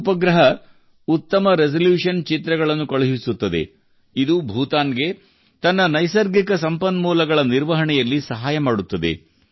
ಈ ಉಪಗ್ರಹವು ಉತ್ತಮ ರೆಸಲ್ಯೂಶನ್ ಚಿತ್ರಗಳನ್ನು ಕಳುಹಿಸುತ್ತದೆ ಇದು ಭೂತಾನ್ ಗೆ ತನ್ನ ನೈಸರ್ಗಿಕ ಸಂಪನ್ಮೂಲಗಳ ನಿರ್ವಹಣೆಯಲ್ಲಿ ಸಹಾಯ ಮಾಡುತ್ತದೆ